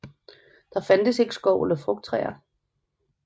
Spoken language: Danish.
Der fandtes ikke skov eller frugttræer